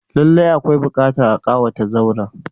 Lallai akwai buƙatar a kawata zauren.